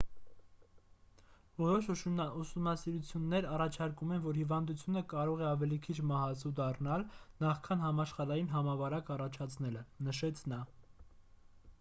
որոշ ուսումնասիրություններ առաջարկում են որ հիվանդությունը կարող է ավելի քիչ մահացու դառնալ նախքան համաշխարհային համավարակ առաջացնելը նշեց նա